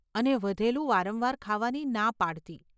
અને વધેલું વારંવાર ખાવાની ના પાડતી.